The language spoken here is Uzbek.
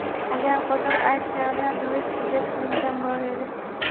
Agar qo‘shiq aytganida, duet kuylashga imkon bor edi.